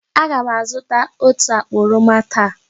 Aga m azụta otú akpa oroma taa.